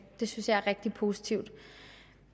det synes jeg er rigtig positivt